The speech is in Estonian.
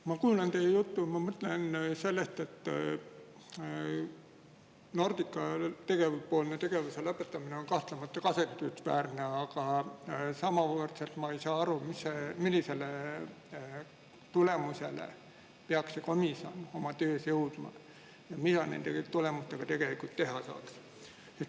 Ma kuulan teie juttu ja mõtlen seda, et Nordica tegevuse lõpetamine on kahtlemata kahetsusväärne, aga samas ma ei saa aru, millisele tulemusele peaks see komisjon oma töös jõudma ja mida nende tulemustega tegelikult teha saaks.